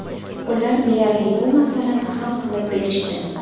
Ular deyarli, bu masalani hal qilib berishdi.